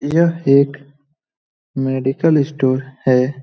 यह एक medical store है ।